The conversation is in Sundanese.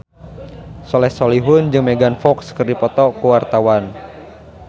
Soleh Solihun jeung Megan Fox keur dipoto ku wartawan